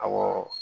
Awɔ